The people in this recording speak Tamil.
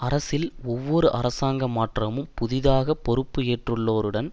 அரசில் ஒவ்வொரு அரசாங்க மாற்றமும் புதிதாக பொறுப்பு ஏற்றுள்ளோருடன்